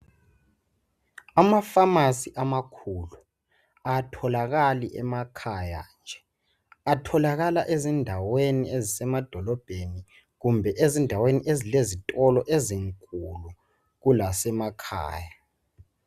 Amafamasi amakhulu atholakali emakhaya nje. Atholakala ezindaweni ezisemadolobheni kumbe ezindaweni ezilezitolo ezinkulu kulasemakhaya.